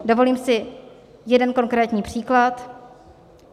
Dovolím si jeden konkrétní příklad.